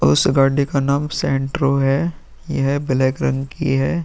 उस गाड़ी का नाम सैंट्रो है यह ब्लैक रंग की है।